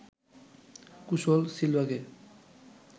কুশল সিলভাকে